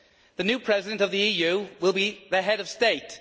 The new President of the EU will be the Head of State.